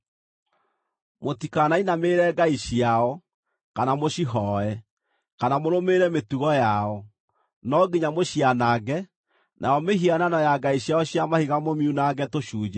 Mũtikanainamĩrĩre ngai ciao, kana mũcihooe, kana mũrũmĩrĩre mĩtugo yao. No nginya mũcianange, nayo mĩhianano ya ngai ciao cia mahiga mũmiunange tũcunjĩ.